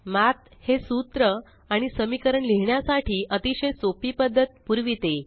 मठ हे सूत्र आणि समीकरण लिहिण्यासाठी अतिशय सोपी पद्धत पुरविते